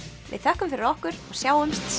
við þökkum fyrir okkur og sjáumst